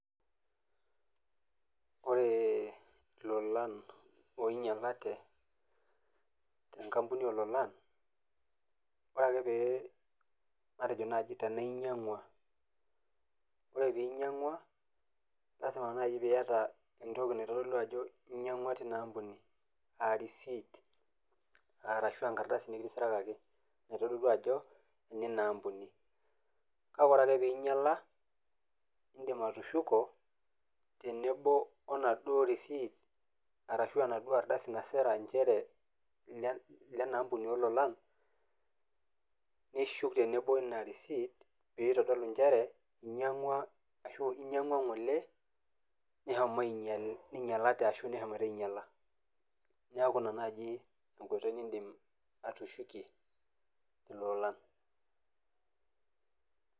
Ore ilolan oinyalate te enkampuni oo lolan, ore ake pee matejo naaji tana inyang'ua, ore pee inyang'ua, naa lazima naaji pee iaata entoki naitodolu ajo inyang'ua teina ampuni aa receipt arashu enkardasi nekitisirakaki naitodolu ajo enina ampuni. Kake ore ake pee einyalate, indim atushuko tenebo we enaduo receipt arashu enaduo ardasi nasira nchere nena ampuni oo lolaan, nishuk tenebo we ina receipt pee itodolu nchere inyang'ua ngole neshomo einyalate ashu neshomo ainyala. Neaku ina naaaji enkoitoi niindim atushukie ilolan.